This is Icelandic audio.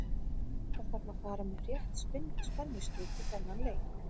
Það þarf að fara með rétt spennustig í þennan leik.